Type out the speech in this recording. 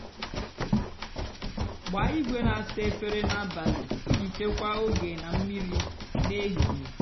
gbaa igwe nà-àsa efere n'abálị íjì chekwaa ógè nà mmírí n'èhíhè.